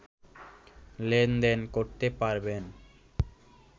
লেনদেন করতে পারবেন